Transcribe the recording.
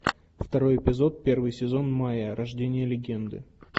второй эпизод первый сезон майя рождение легенды